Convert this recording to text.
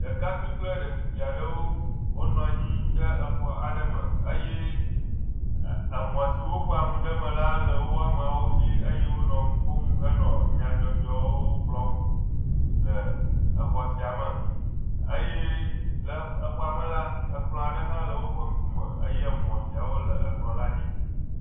Ɖekakpui kple ɖetugbi aɖewo wonɔ anyi ɖe exɔ aɖe me eye emɔ si woƒoa nu ɖe eme la le wo ameawo si eye wonɔ nu ƒom ɖe eme henɔ nyadzɔdzɔwo gblɔm le exɔa sia me eye le exɔa me la ekplɔ aɖe hã le woƒe ŋkume eye emɔ siawo le ekplɔ la dzi.